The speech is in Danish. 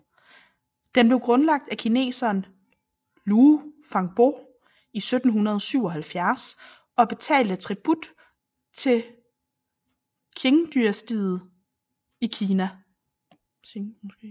Den blev grundlagt af kineseren Luo Fangbo i 1777 og betalte tribut til Qingdynastiet i Kina